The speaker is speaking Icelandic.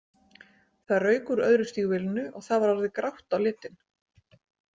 Það rauk úr öðru stígvélinu og það var orðið grátt á litinn.